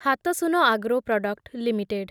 Hatsun agro product limited